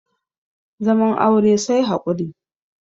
zaman aure sai haƙuri